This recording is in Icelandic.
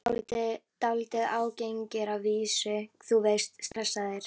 Dálítið ágengir að vísu, þú veist, stressaðir.